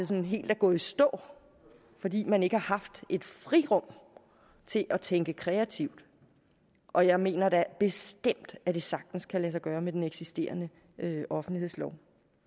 sådan helt er gået i stå fordi man ikke har haft et frirum til at tænke kreativt og jeg mener da bestemt at det sagtens kan lade sig gøre med den eksisterende offentlighedslov